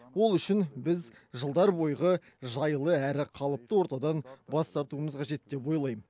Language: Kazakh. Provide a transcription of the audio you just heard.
ол үшін біз жылдар бойғы жайлы әрі қалыпты ортадан бас тартуымыз қажет деп ойлайм